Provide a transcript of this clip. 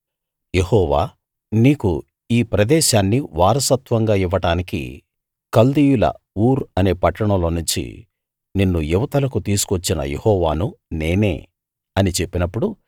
యెహోవా నీకు ఈ ప్రదేశాన్ని వారసత్వంగా ఇవ్వడానికి కల్దీయుల ఊర్ అనే పట్టణంలో నుంచి నిన్ను ఇవతలకు తీసుకువచ్చిన యెహోవాను నేనే అని చెప్పినప్పుడు